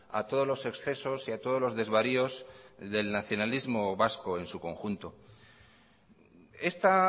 a todos los excesos y a todos los desvaríos del nacionalismo vasco en su conjunto esta